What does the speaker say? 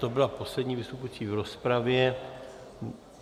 To byla poslední vystupující v rozpravě.